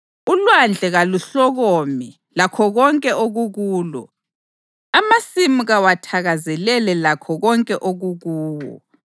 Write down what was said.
Ulwandle kaluhlokome lakho konke okukulo, amasimu kawathakazelele lakho konke okukuwo.